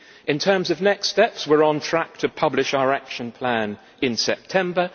In terms of next steps, we are on track to publish our action plan in September.